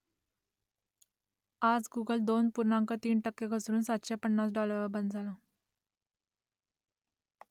आज गुगल दोन पूर्णांक तीन टक्के घसरून सातशे पन्नास डॉलरवर बंद झालं